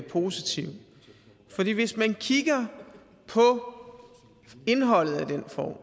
positiv fordi hvis man kigger på indholdet af den